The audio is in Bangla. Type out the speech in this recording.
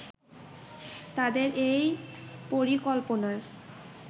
তাদের এই পরিকল্পনার